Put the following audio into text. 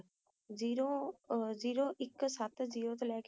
zero ਇਕ ਸੁਤ ਤੋਂ ਲੈ ਕ ਇਕ ਹਜ਼ਾਰ ਈਸਵੀ